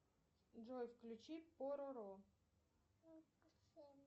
джой включи пороро